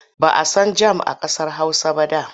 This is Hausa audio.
Ba a san jam a ƙasar Hausa ba da.